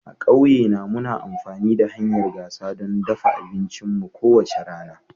A ƙauyena, muna amfani da hanyar gasa don dafa abincinmu kowace rana.